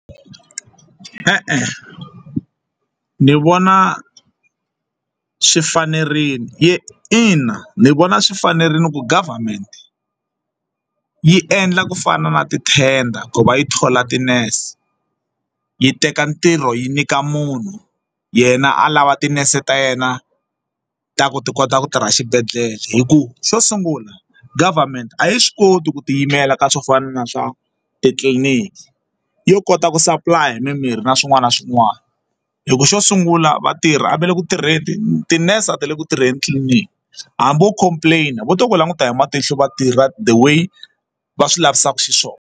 E-e, ni vona swi fanerile ina ni vona swi fanerile ku government yi endla ku fana na ti-tender ku va yi thola ti-nurse yi teka ntirho yi nyika munhu yena a lava tinese ta yena ta ku ti kota ku tirha xibedhlele hikuva xo sungula government a yi swi koti ku ti yimela ka swo fana na swa titliliniki yo kota ku supply-a hi mimirhi na swin'wana na swin'wana hi ku xo sungula vatirhi va le ku tirheni tinese a ti le ku tirheni tliliniki hambi wo complain vo to ku languta hi matihlo vatirha the way va swi lavisaka xiswona.